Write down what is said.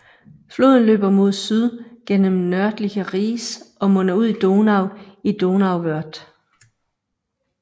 Floden løber mod syd gennem Nördlinger Ries og munder ud i Donau i Donauwörth